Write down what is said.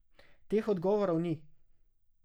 Teh odgovorov ni.